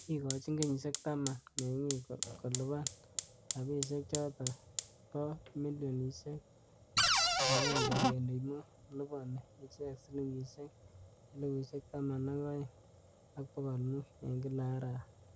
Kikochin kenyishek taman(10) mingi'ik kolaban rabidhek choto bo milionishek 1.5. labani ichek siling 12,500 eng kila arawa.